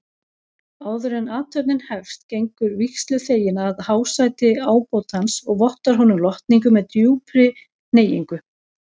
Áðuren athöfnin hefst gengur vígsluþeginn að hásæti ábótans og vottar honum lotningu með djúpri hneigingu.